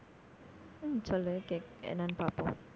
ஹம் சொல்லு கேக்~ என்னன்னு பார்ப்போம்